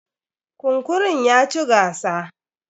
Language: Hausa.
Kunkurun ya ci gasa.